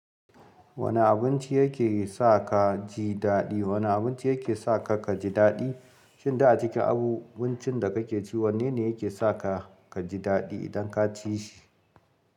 Wane abinci yake sa ka ji daɗi? Wane abinci yake sa ka kaji daɗi? Shin du a cikin abincin da kake ci, wanne ne yake sa ka kaji daɗi idan ka ci shi?